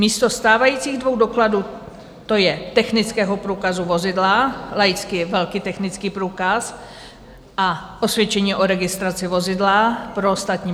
Místo stávajících dvou dokladů, to je technického průkazu vozidla - laicky velký technický průkaz - a osvědčení o registraci vozidla - pro ostatní.